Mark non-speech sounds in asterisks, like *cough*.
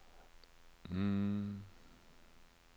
*hesitation*